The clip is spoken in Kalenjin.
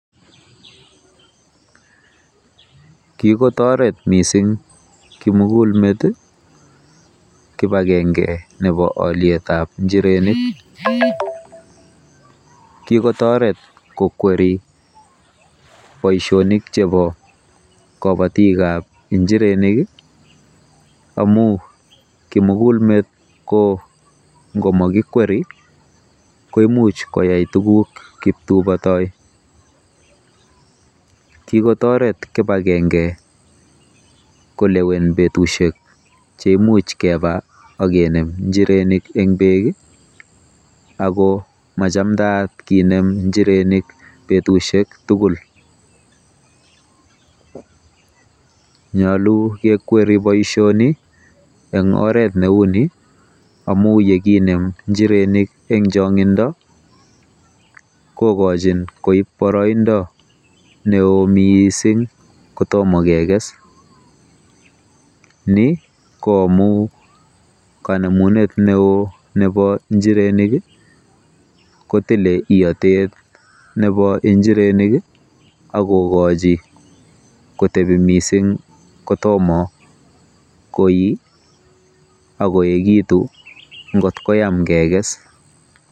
Kikotoret mising kimukulmet kibagenge nebo olietab njirenik. Kikotoret kokweri boisionik chebo kobotik chebo njirenik amu kimukulmet ngomakikweri koimuch koyai tuguk kiptubotoi. Kikotoret kibagenge kolewen betusiek cheimuch keba akenem njirenik eng bek ako machamdaat kenem njirenik betusiek tugul. Nyolu kekweri boisioni eng oret neuni amu yekinem njirenik eng chong'indo kokochin koib boroindo neoo mising kotomo kekes. Ni ko amu kanemunet neo nebo njirenik kotile iotet nebo njirenik akokochi kotebi mising kotomo koii akoekitu ngot koyam kekes.